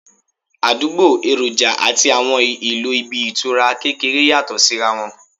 Àdúgbò, èròjà àti àwọn ìlò ibi ìtura kékeré yàtọ̀ sí ra wọn